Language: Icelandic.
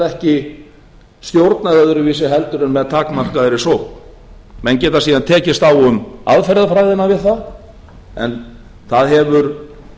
ekki stjórnað öðruvísi heldur en með takmarkaðri sókn menn geta síðan tekist á um aðferðafræðina við það en það hefur